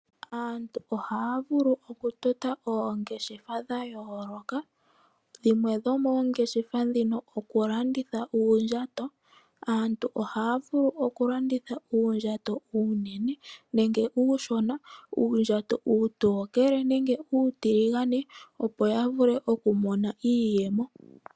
Aantu ohaya vulu oku tota ongeshefa dha yooloka dhimwe dhoomongeshefa ndhino oku landitha uundjato. Aantu ohaya vulu oku landitha uundjato uunene nenge uundjato uushona. Uundjato uutookele nenge uutiligane, opo ya vule oku mona iiyemo.